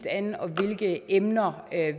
an og hvilke emner